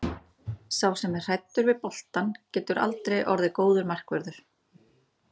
Sá sem er hræddur við boltann getur aldrei orðið góður markvörður.